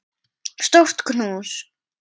Stórt knús.